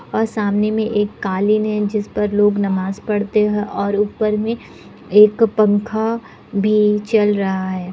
और सामने में एक कालीन है जिस पर लोग नमाज़ पढ़ते हैं और ऊपर में एक अ पंखा भी चल रहा है।